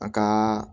A ka